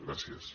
gràcies